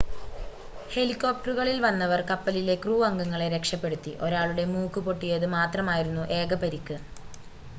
ഹെലികോപ്ടറുകളിൽ വന്നവർ കപ്പലിലെ ക്രൂ അംഗങ്ങളെ രക്ഷപ്പെടുത്തി ഒരാളുടെ മൂക്ക് പൊട്ടിയത് മാത്രമായിരുന്നു ഏക പരിക്ക്